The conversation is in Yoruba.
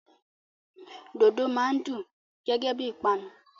Dòdò máa n dùn gẹgẹ bí ìpanu.